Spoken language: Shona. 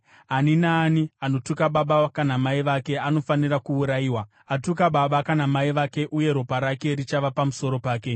“ ‘Ani naani anotuka baba kana mai vake anofanira kuurayiwa. Atuka baba kana mai vake uye ropa rake richava pamusoro pake.